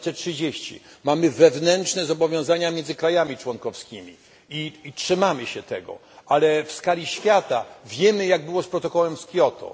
2030. Mamy wewnętrzne zobowiązania między krajami członkowskimi i trzymamy się tego, ale w skali świata wiemy, jak było z protokołem z Kyoto.